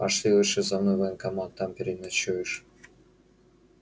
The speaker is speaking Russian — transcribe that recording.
пошли лучше за мной в военкомат там переночуешь